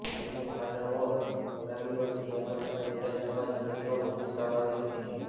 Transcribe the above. તેમનો આ દાવ આગામી વર્ષ બિહારમાં થનાર વિધાનસભા ચૂંટણીમાં બહુ જ કામ આવી શકે છે